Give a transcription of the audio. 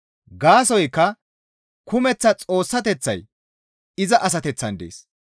Gaasoykka kumeththa Xoossateththay iza asateththan dees.